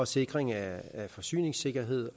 sikring af forsyningssikkerhed